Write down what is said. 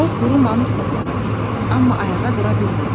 O quru mamır toplamaq istədi, amma ayağa dura bilmədi.